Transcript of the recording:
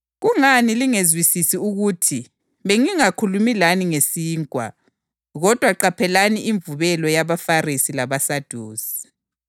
Kungani lingezwisisi ukuthi bengingakhulumi lani ngesinkwa? Kodwa qaphelani imvubelo yabaFarisi labaSadusi.”